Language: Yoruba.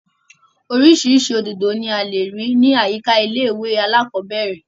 Orísirísi òdòdó ni a lè rí ní àyíká ilé ìwé alákọ́bẹ̀rẹ̀